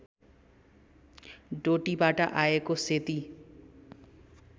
डोटीबाट आएको सेती